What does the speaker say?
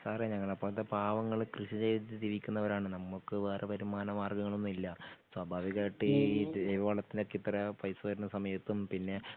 സാറേ ഞങ്ങളെ പോലത്തെ പാവങ്ങള് കൃഷിചെയ്ത് ജീവിക്കുന്നവരാണ് നമുക്ക് വേറെ വരുമാനമാർഗങ്ങളൊന്നുമില്ല സ്വാഭാവികമായിട്ടും ഈ ജൈവവളത്തിനൊക്കെ ഇത്ര പൈസ വരുന്ന സമയത്തും പിന്നെ